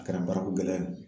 A kɛra baarako gɛlɛya ye